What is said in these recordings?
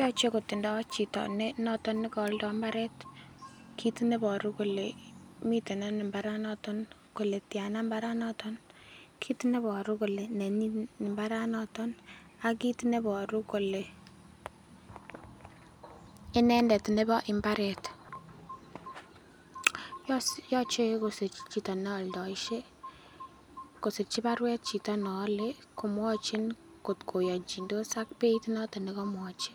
yoche kotindoo chito ne noton negooldo mbareet kiit nebo kole miten ano mbaraat noton kole tyana mbaraat noton kit neboru kole nenyin mbaraat noton, ak kiit neboru koleinendet nebo mbareet, yoche kosirchi chito neoldoishe kosirchi barweet chito neole komwonchin kot koyonchindos ak beeit noton negomwochi,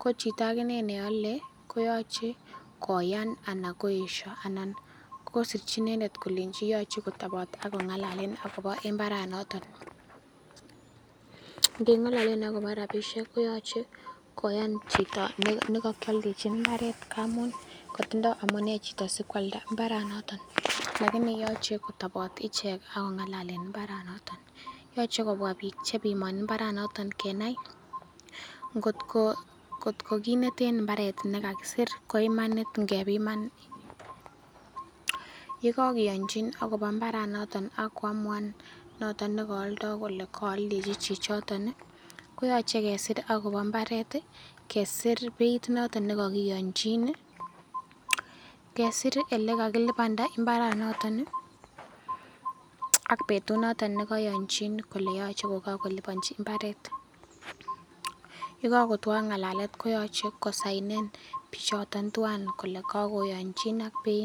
ko chito ak inee neole koyoche koyaan anna koesho anan kosirchi inendet kolenchi yoche kotoboot ak kongalalen agobo mbaraat noton, ngengalalen agobo rabishek koyoche koyaan chito negokyoldechin imbareet amuun kotindo amunee chito sikwalada mbaraat noton lakini yoche kotoboot ichek ak kongalalen mbaraat niton, yoche kobwa biik chebimoni mbaraat noton kenai ngot ko kineteen imbareet negakisiir koimanit ngebimaan, yegikionyin agobo mbaranoton ak kwamuan noton negoldo kole kooldechi chichoton iih koyoche kesiir agobo mbareet iih kesiir beeit noton negokionyiinii iih, kesiir iih elekagilibanda mbaraat noton iih ak betut noton negoyonchi kole yoche kobokolibonchi mbareet, ye kagotwo ngalalet koyoche kosainen bichoton twaan kole kagoyonchin ak beit.